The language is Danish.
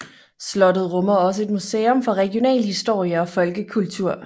Slottet rummer også et museum for regional historie og folkekultur